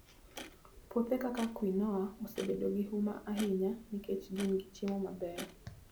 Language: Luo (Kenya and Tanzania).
Puothe kaka quinoa osebedo gi huma ahinya nikech gin gi chiemo mabeyo.